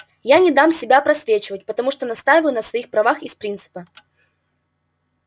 я не дам себя просвечивать потому что настаиваю на своих правах из принципа